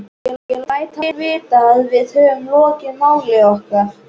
Ég læt hann vita, að við höfum lokið máli okkar.